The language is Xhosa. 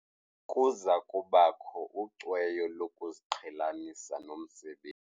Kuza kubakho ucweyo lokuziqhelanisa nomsebenzi.